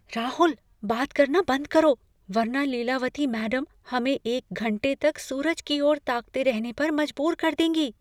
राहुल! बात करना बंद करो, वरना लीलावती मैडम हमें एक घंटे तक सूरज की ओर ताकते रहने पर मजबूर कर देंगी।